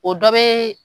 O dɔ bɛ